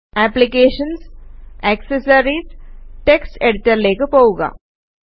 applications GT accessories GT text എഡിറ്റര്ലേക്ക് പോകുക